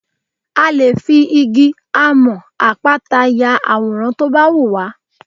A lè fi igi, amọ̀n, àpáta ya àwòrán tó bá wù wá.